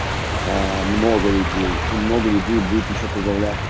много людей и много людей будет ещё прибавляться